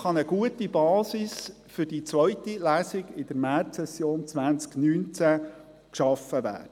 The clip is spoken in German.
Damit kann eine gute Basis für die zweite Lesung in der Märzsession 2019 geschaffen werden.